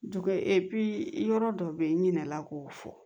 Dugu epi yɔrɔ dɔ bɛ yen i ɲinɛna k'o fɔ